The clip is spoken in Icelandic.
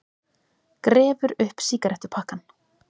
Grefur upp sígarettupakkann.